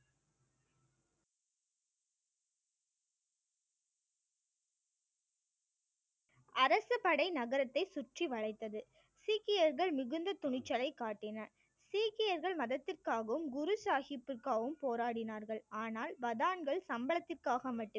அரசு படை நகரத்தை சுற்றி வளைத்தது சீக்கியர்கள் மிகுந்த துணிச்சலை காட்டின சீக்கியர்கள் மதத்திற்காகவும் குரு சாஹிப்புக்காகவும் போராடினார்கள் ஆனால் பதான்கள் சம்பளத்துக்காக மட்டுமே